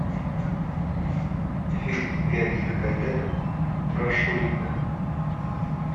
фильм леонида гайдая про шурика